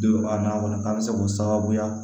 Don a na o la an bɛ se k'o sababuya